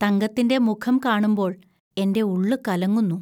തങ്കത്തിന്റെ മുഖം കാണുമ്പോൾ എന്റെ ഉള്ളു കലങ്ങുന്നു